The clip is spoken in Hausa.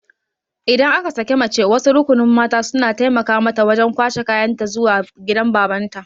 Idan aka sake mace wasu rukunin mata suna taimaka mata wajan kwashe kayan ta zuwa gidan babanta